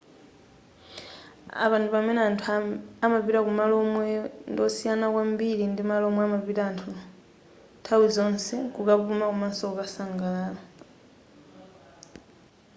apa ndi pamene anthu amapita kumalo omwe ndiwosiyana kwambiri ndi malo omwe amapita nthawi zonse kukapuma komaso kukasangalala